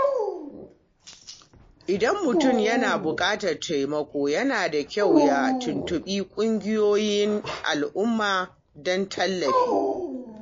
Idan mutum yana bukatar taimako, yana da kyau ya tuntuɓi ƙungiyoyin al'umma don tallafi.